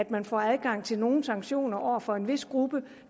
man får adgang til nogle sanktioner over for en vis gruppe